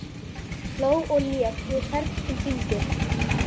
Hló og lék við hvern sinn fingur.